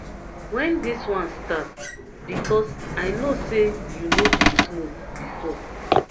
wen dis one start because i know say you no dey smoke before